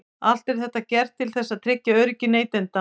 Allt er þetta gert til þess að tryggja öryggi neytenda.